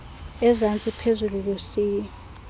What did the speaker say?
ezantsi phezulu lusiya